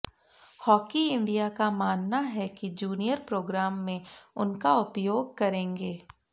hockey India का मानना है कि जूनियर प्रोग्राम में उनका उपयोग करेंगे